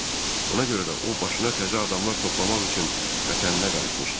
Buna görə də o başına təzə adamlar toplamaq üçün vətəninə qayıtmışdı.